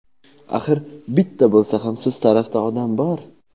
Axir bitta bo‘lsa ham siz tarafda odam bor.